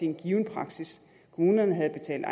en given praksis kommunerne havde betalt